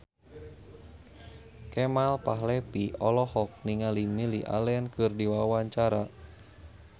Kemal Palevi olohok ningali Lily Allen keur diwawancara